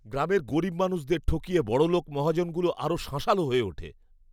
গ্রামের গরীব মানুষদের ঠকিয়ে বড়লোক মহাজনগুলো আরও শাঁসালো হয়ে ওঠে!